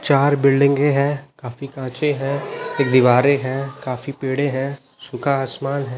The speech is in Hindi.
चार बिल्डिंगे है काफी कांचे है एक दीवारें है काफी पेड़ है सुखा आसमान है।